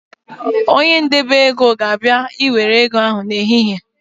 Onye ndebeego ga-abịa Ị nwere ego n’ehihie